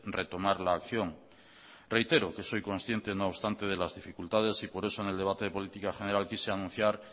retomar la acción reitero que soy consciente no obstante de las dificultades y por eso en el debate de política general quise anunciar